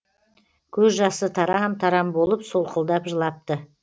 көз жасы тарам тарам болып солқылдап жылапты